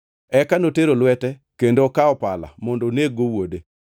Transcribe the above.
Eka notero lwete kendo okawo pala mondo oneg-go wuode.